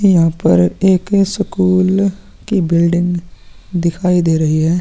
यहां पर एक स्कूल की बिल्डिंग दिखाई दे रही है।